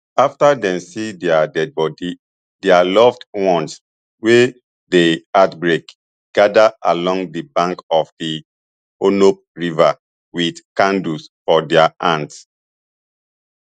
afta dem see dia deadibody dia loved ones wey dey heartbroken gada along di bank of di hennops river wit candles for dia hands